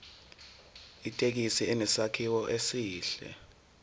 ithekisi inesakhiwo esihle